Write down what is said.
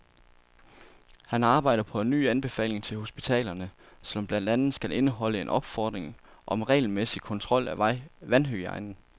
Han arbejder på en ny anbefaling til hospitalerne, som blandt andet skal indeholde en opfordring om regelmæssig kontrol af vandhygiejnen.